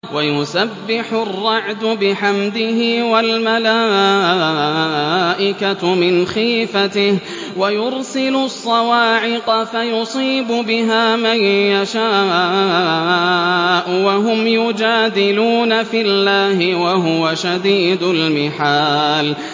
وَيُسَبِّحُ الرَّعْدُ بِحَمْدِهِ وَالْمَلَائِكَةُ مِنْ خِيفَتِهِ وَيُرْسِلُ الصَّوَاعِقَ فَيُصِيبُ بِهَا مَن يَشَاءُ وَهُمْ يُجَادِلُونَ فِي اللَّهِ وَهُوَ شَدِيدُ الْمِحَالِ